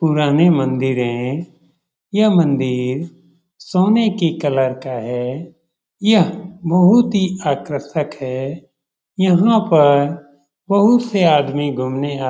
पुरानी मंदिर है। यह मंदिर सोने की कलर का है। यह बहुत ही आकर्षक है। यहाँ पर बहुत से आदमी घूमने आ --